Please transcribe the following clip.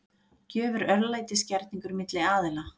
Gjöf er örlætisgerningur milli aðila.